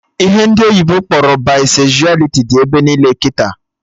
Ihe ndị oyibo kpọrọ Baisezualiti dị ebe niile kịta